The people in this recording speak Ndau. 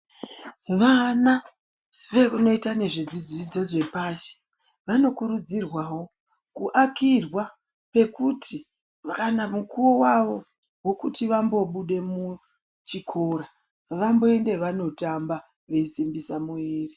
Vana vekunoita nezvezvidzidzo zvepashi ,vanokurudzirwawo kuakirwa pekuti kana mukuwo wavo wekuti vambobude muchikora ,vamboende vanotamba, veisimbisa muviri.